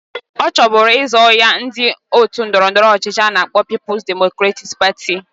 Ọchọ buru izọ ya ndi otu ndọrọ ndọrọ ọchịchị ana akpo People's Democratic Party.